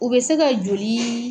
U bɛ se ka joli